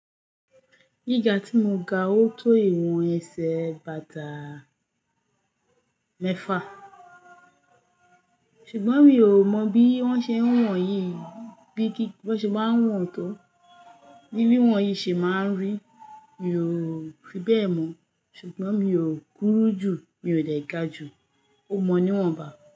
Ní ìgbà tí mo ga ó tó ìwọ̀n ẹsẹ̀ bàtà mẹ́fà, ṣùgbọ́n mi ò mọ bí wọ́n ṣe ń wọ̀n yí, bí kí-- bí wón ṣe máa ń wọ̀n tó, ní bí wọ̀n yí ṣe máa ń rí, mi ò fi bẹ́ẹ̀ mọ̀, ṣùgbọ́n mi ò kúrú jù, mi ò lè ga ju ó mọ́ níwọ̀n ba.